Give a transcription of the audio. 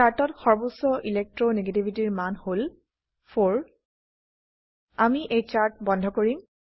চাৰ্টত সৰ্বোচ্চ ইলেকট্ৰো নেগেটিভিটিৰ মান হল 4 আমি এই চাৰ্ট বন্ধ কৰিম